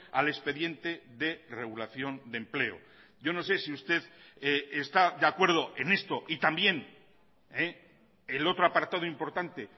al expediente de regulación de empleo yo no sé si usted está de acuerdo en esto y también el otro apartado importante